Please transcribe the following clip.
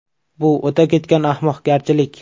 Bu o‘ta ketgan ahmoqgarchilik”.